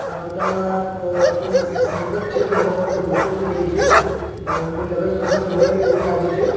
આ ફોટામાં અ કોઇ મંડ મંડપ છે મંડપમાં બધી ખુરસીઓ મૂકેલી છે અ કોઇ લગન પ્રસંગ હોઇ એવુ લાગે છે.